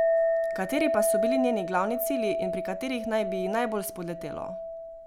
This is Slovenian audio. Kateri pa so bili njeni glavni cilji in pri katerih naj bi ji najbolj spodletelo?